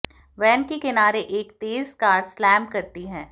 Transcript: van के किनारे एक तेज कार स्लैम करती है